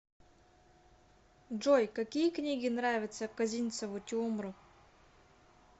джой какие книги нравятся козинцеву тиумру